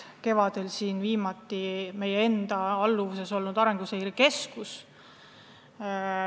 Kevadel tegi oma raporti Riigikogu juures tegutsev Arenguseire Keskus.